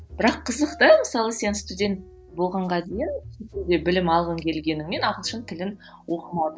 бірақ қызық да мысалы сен студент болғанға дейін білім алғың келгенімен ағылшын тілін оқымадың